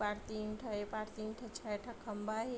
ए पार तीन ठ ए पार तीन ठ छेः ठो खम्भा हे।